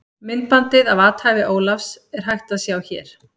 Myndbandið af athæfi Ólafs, er hægt að sjá hér.